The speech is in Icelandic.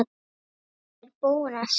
Hrund: Er búið að semja?